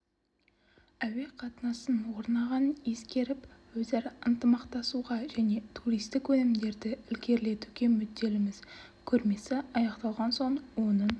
әуе қатынасының орнағанын ескеріп өзара ынтымақтасуға және туристік өнімдерді ілгерілетуге мүдделіміз көрмесі аяқталған соң оның